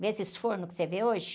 Vê esses fornos que você vê hoje?